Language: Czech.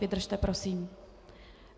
Vydržte prosím.